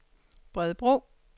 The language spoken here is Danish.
Bredebro